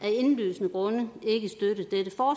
af indlysende grunde ikke støtte